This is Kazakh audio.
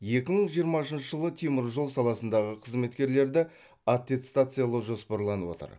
екі мың жиырмасыншы жылы теміржол саласындағы қызметкерлерді аттестациялау жоспарланып отыр